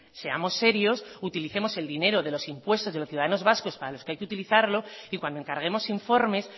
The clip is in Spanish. seamos serios utilicemos el dinero de los impuestos de los ciudadanos vascos para los que hay que utilizarlo y cuando encarguemos informes